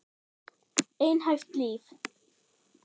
Einhæft líf.